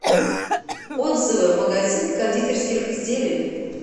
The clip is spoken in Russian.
отзывы магазин кондитерских изделий